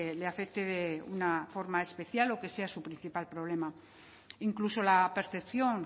le afecte de una forma especial o que sea su principal problema incluso la percepción